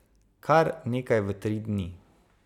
Kar nekaj v tri dni.